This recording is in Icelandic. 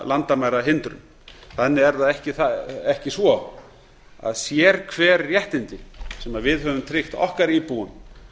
hugtakaskilgreininguna landamærahindrun þannig er það ekki svo að sérhver réttindi sem við högum tryggt okkar íbúum